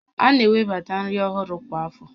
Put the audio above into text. A na-ewebata nri ọhụrụ kwa afọ